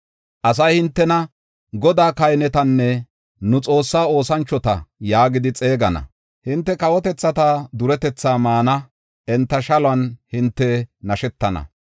Asay hintena, “Godaa kahinetanne nu Xoossaa oosanchota” yaagidi xeegana. Hinte kawotethata duretetha maana; enta shaluwan hinte nashetana.